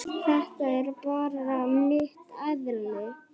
Þetta er bara mitt eðli.